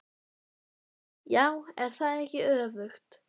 Linda: Já, er það ekki öfugt?